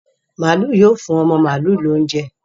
Maalu yóò fún ọmọ màlúù náa ní oúnjẹ.